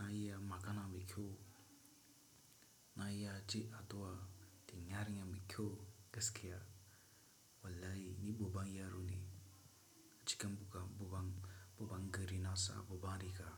naiya makana mikhyo. Naiya chi atuwa tin yaringa mikhyo geskea. Wallayi ni bobang yaru ni. Chikambuka bobang, bobang garrina sa boban riga.